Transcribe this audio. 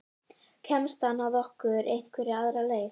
Kemst hann að okkur einhverja aðra leið?